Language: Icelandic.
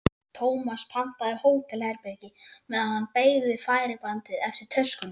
Tómas pantaði hótelherbergi meðan hann beið við færibandið eftir töskunum.